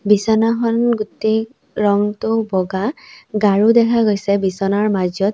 বিচনাখন গোটেই ৰংটো বগা গাৰু দেখা গৈছে বিচনাৰ মাজত।